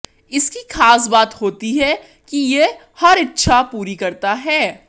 इसकी खास बात होती है कि ये हर इच्छआ पूरी करता है